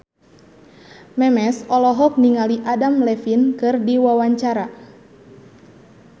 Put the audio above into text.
Memes olohok ningali Adam Levine keur diwawancara